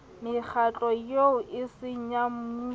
mekgatlo eo eseng ya mmuso